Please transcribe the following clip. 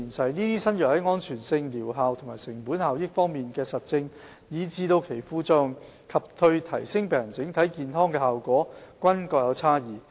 這些新藥在安全性、療效和成本效益方面的實證，以至其副作用及對提升病人整體健康的效果均各有差異。